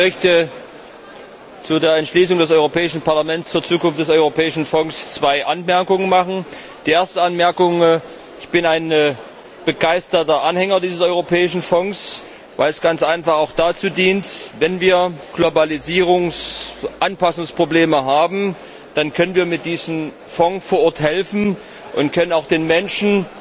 Ich möchte zu der Entschließung des Europäischen Parlaments zur Zukunft des Europäischen Fonds zwei Anmerkungen machen. Die erste Anmerkung Ich bin ein begeisterter Anhänger dieses Europäischen Fonds, weil er dazu dient, wenn wir Globalisierungsanpassungsprobleme haben, dann können wir mit diesem Fonds vor Ort helfen und können auch den Menschen